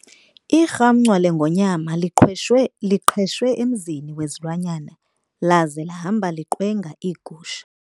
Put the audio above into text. Irhamncwa lengonyama liqhweshe emzini wezilwanyana laze lahamba liqwenga iigusha.